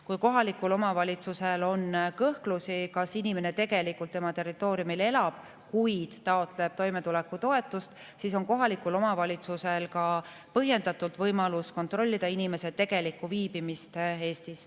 Kui kohalikul omavalitsusel on kõhklusi, kas inimene tegelikult selle omavalitsuse territooriumil elab, kuigi taotleb seal toimetulekutoetust, siis on kohalikul omavalitsusel põhjendatult võimalus kontrollida inimese tegelikku viibimist Eestis.